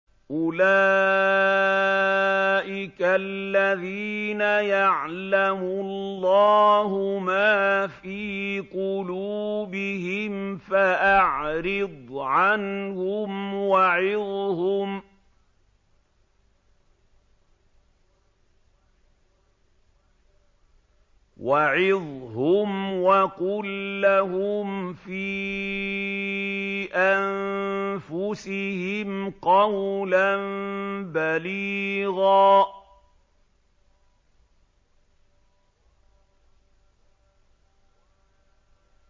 أُولَٰئِكَ الَّذِينَ يَعْلَمُ اللَّهُ مَا فِي قُلُوبِهِمْ فَأَعْرِضْ عَنْهُمْ وَعِظْهُمْ وَقُل لَّهُمْ فِي أَنفُسِهِمْ قَوْلًا بَلِيغًا